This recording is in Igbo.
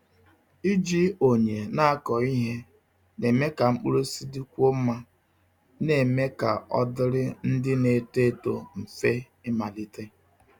Iji onye na-akọ ihe na-eme ka mkpụrụ osisi dịkwuo mma, na-eme ka ọ dịrị ndị na-eto eto mfe ịmalite.